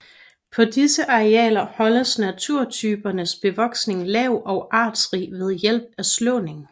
På disse arealer holdes naturtypernes bevoksning lav og artsrig ved hjælp af slåning